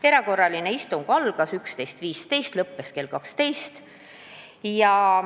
Erakorraline istung algas kell 11.15 ja lõppes kell 12.